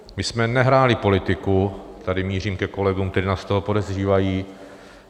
My jsme nehráli politiku - tady mířím ke kolegům, kteří nás z toho podezřívají.